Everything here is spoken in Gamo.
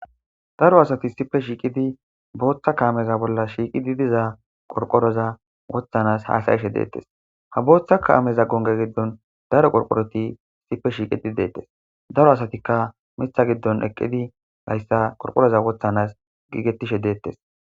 Daro asati sipe shiiqidi booththa kaameza bolla shiiqidi diza qorqoroza wothanas haasayeshe deettes ha booththa kaameza gonge giddon daro qorqoroti sipe shiiqidi deettes daro asatikka mitha giddon eqqidi hayssa qorqoroza wothanas giigettishe deettes.